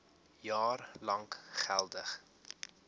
jaar lank geldig